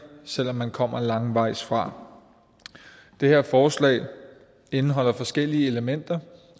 selv om man kommer langvejs fra det her forslag indeholder forskellige elementer